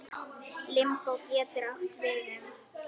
Limbó getur átt við um